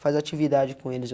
Faz a atividade com eles.